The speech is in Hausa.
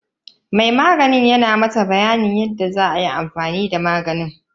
Mai maganin yana mata bayanin yadda zatayi amfani da maganin.